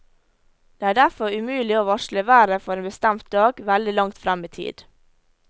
Det er derfor umulig å varsle været for en bestemt dag veldig langt frem i tid.